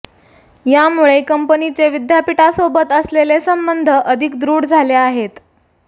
यामुळे कंपनीचे विद्यापीठासोबत असलेले संबंध अधिक दृढ झाले आहेत